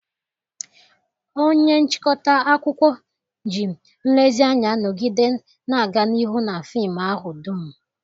Onye nchịkọta akụkọ ji nlezianya nọgide na-aga n'ihu na fim ahụ dum.